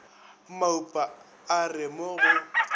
maupa a re mo go